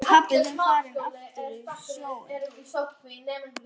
Er pabbi þinn farinn aftur á sjóinn?